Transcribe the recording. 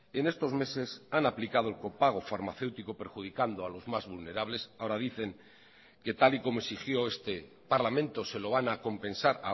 en estos meses han aplicado el copago farmacéutico perjudicando a los más vulnerables ahora dicen que tal y como exigió este parlamento se lo van a compensar